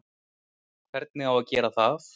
Hvernig á að gera það?